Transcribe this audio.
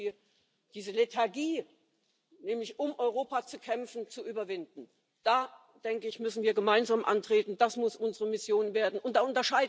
basis. We want it. Increasingly, I think that you want it. Let's get Brexit sorted and, Mr Verhofstadt, you'll be happy, you'll see the back of us.